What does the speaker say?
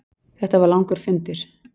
Þetta var langur fundur.